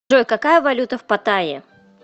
джой какая валюта в паттайе